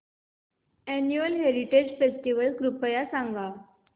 annual heritage festival कृपया सांगा